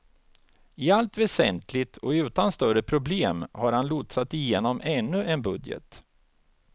I allt väsentligt och utan större problem har han lotsat igenom ännu en budget.